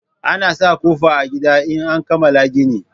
Ana sa ƙofa a gida in an kamala gini